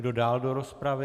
Kdo dál do rozpravy?